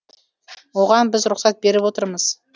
оған біз рұқсат беріп отырмыз